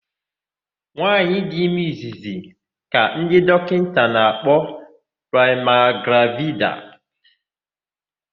Nwaanyị dị ime izizzi ka ndị dọkịta na-akpọ praịmigravida.